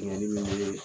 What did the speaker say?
Bɛnni min bɛ